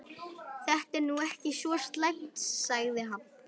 Þetta er nú ekki svo slæmt sagði hann.